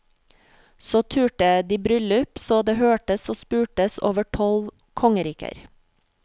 Så turte de bryllup så det hørtes og spurtes over tolv kongeriker.